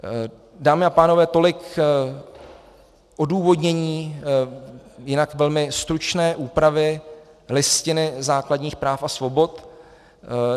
Dámy a pánové, tolik k odůvodnění jinak velmi stručné úpravy Listiny základních práv a svobod.